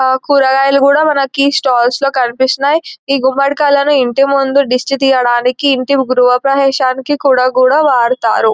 ఆ కూరగాయలు కూడా మనకి స్టాల్ల్స్ లో కనిపిస్తున్నాయి ఈ గుమ్మడికాయలను ఇంటి ముందు దిష్టి తీయడానికి ఇంటి గృహప్రవేశానికి కూడా గుడా వాడతారు.